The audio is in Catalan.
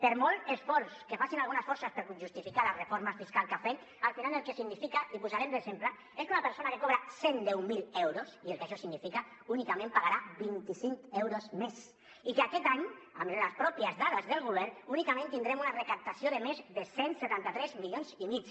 per molt esforç que facin algunes forces per justificar la reforma fiscal que han fet al final el que significa i ho posarem d’exemple és que una persona que cobra cent i deu mil euros i el que això significa únicament pagarà vint cinc mil euros més i que aquest any amb les pròpies dades del govern únicament tindrem una recaptació de més de cent i setanta tres milions i mig